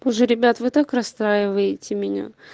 уже ребят вы так расстраиваете меня